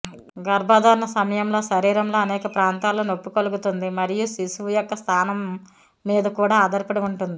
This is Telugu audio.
గర్భధారణ సమయంలో శరీరంలో అనేక ప్రాంతాల్లో నొప్పి కలుగుతుంది మరియు శిశువు యొక్క స్థానం మీదకూడా ఆధారపడి ఉంటుంది